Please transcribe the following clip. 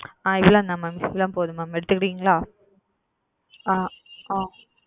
அ இவ்ளோதான் mam இவ்ளோ போதும் mam எடுத்துகீடீன்களா அ.